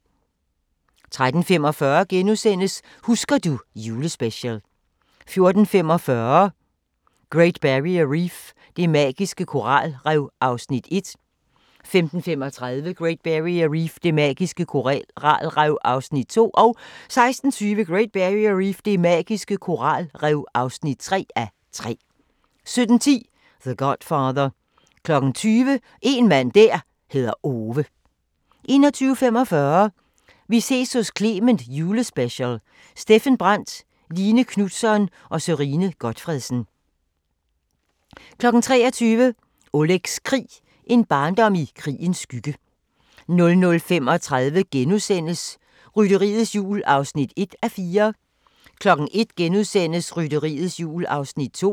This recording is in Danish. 13:45: Husker du ... Julespecial * 14:45: Great Barrier Reef – det magiske koralrev (1:3) 15:35: Great Barrier Reef – det magiske koralrev (2:3) 16:20: Great Barrier Reef – det magiske koralrev (3:3) 17:10: The Godfather 20:00: En mand der hedder Ove 21:45: Vi ses hos Clement Jule special: Steffen Brandt, Line Knutzon og Sørine Gotfredsen 23:00: Olegs krig – en barndom i krigens skygge 00:35: Rytteriets Jul (1:4)* 01:00: Rytteriets Jul (2:4)*